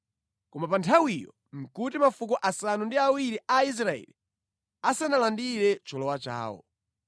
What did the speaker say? Koma pa nthawiyo nʼkuti mafuko asanu ndi awiri a Aisraeli asanalandire cholowa chawo.